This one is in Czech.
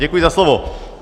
Děkuji za slovo.